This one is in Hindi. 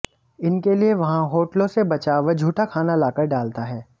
इनके लिए वहां होटलों से बचा व झूठा खाना लाकर डालता है